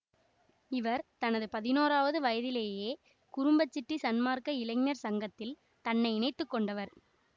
இவர் தனது பதினோராவது வயதிலேயே குரும்பசிட்டி சன்மார்க்க இளைஞர் சங்கத்தில் தன்னை இணைத்து கொண்டவர்